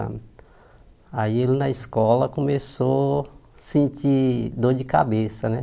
Anos aí ele na escola começou a sentir dor de cabeça, né?